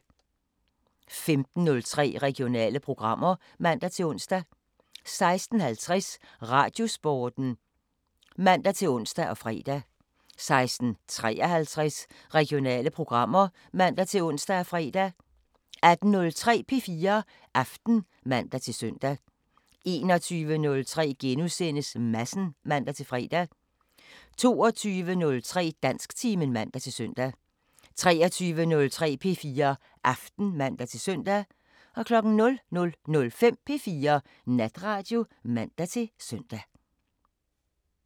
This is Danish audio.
15:03: Regionale programmer (man-ons) 16:50: Radiosporten (man-ons og fre) 16:53: Regionale programmer (man-ons og fre) 18:03: P4 Aften (man-søn) 21:03: Madsen *(man-fre) 22:03: Dansktimen (man-søn) 23:03: P4 Aften (man-søn) 00:05: P4 Natradio (man-søn)